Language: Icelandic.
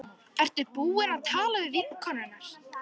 Ertu búin að tala við vinkonur hennar?